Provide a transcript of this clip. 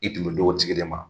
I tun bɛ d'o tigi de ma.